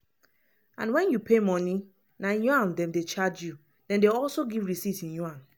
and wen you wan pay money na yaun dem dey charge you dem dey also give receipt in yuan.